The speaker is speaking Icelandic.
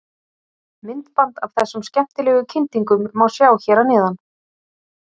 Myndband af þessum skemmtilegu kyndingum má sjá hér að neðan.